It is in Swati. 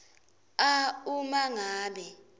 a uma ngabe